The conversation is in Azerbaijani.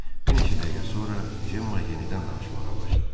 Bir neçə dəqiqə sonra Cemma yenidən danışmağa başladı.